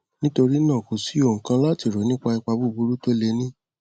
nítorí náà kò sí ohun kan láti rò nípa ipa buburú tó lè ní